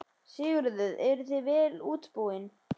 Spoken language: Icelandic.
Sigurður: Eruð þið vel útbúin?